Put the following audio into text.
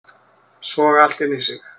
Soga allt inn í sig